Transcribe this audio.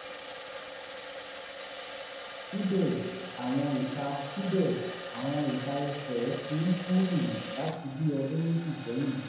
síbẹ̀ àwọn ìka síbẹ̀ àwọn ìka ẹsẹ̀ m ti ń kú rìrì láti bí ọdún méjì sẹ́yìn